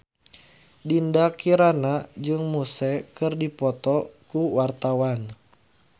Dinda Kirana jeung Muse keur dipoto ku wartawan